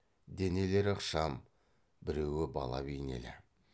денелері ықшам біреуі бала бейнелі